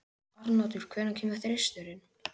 Arnoddur, hvenær kemur þristurinn?